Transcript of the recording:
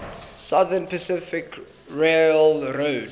southern pacific railroad